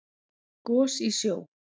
Gos í sjó